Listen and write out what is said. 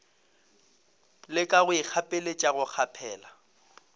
leka go ikgapeletša go kgaphela